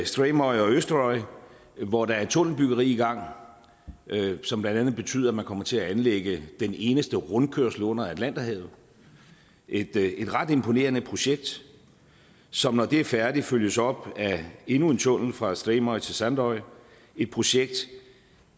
streymoy og eysturoy hvor der er et tunnelbyggeri i gang som blandt andet betyder at man kommer til at anlægge den eneste rundkørsel under atlanterhavet et ret imponerende projekt som når det er færdigt følges op af endnu en tunnel fra streymoy til sandoy et projekt